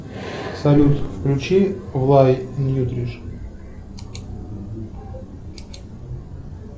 салют включи влай ньютриш